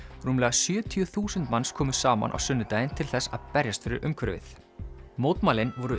rúmlega sjötíu þúsund manns komu saman á sunnudaginn til þess að berjast fyrir umhverfið mótmælin voru